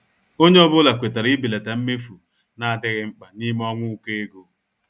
Ònye ọ́bụ̀la kwètàrà ibèlata mmefu na-adịghị mkpa n'ime ọnwa ụkọ ego.